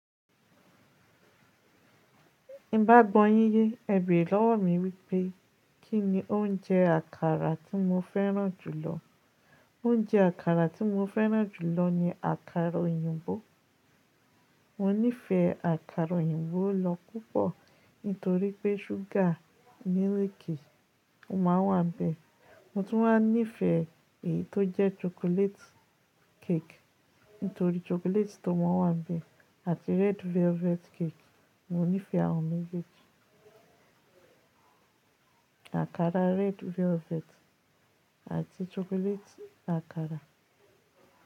Ti n bá gbọ́ yín yé, ẹ béèrè lọ́wọ́ mi wípé, kí ni oúnjẹ àkàrà tí mo fẹ́ràn jù lọ. Oúnjẹ àkàrà tí mo fẹ́ràn jù lọ ni àkàrà òyìnbó. Mo nífẹ̀ẹ́ àkàrà òyìnbó lọ́ púpọ̀ nítorí pé ṣúgà níréèkì máa wà níbẹ̀. Mo tún máa ń nífẹ̀ẹ́ èyí tó jẹ́ chocolate cake nítorí chocolate tó máa wà níbẹ̀ àti red velvet cake. Mo nífẹ̀ẹ́ àwọn méjèèjì àkàrà red velvet àti chocolate àkàrà.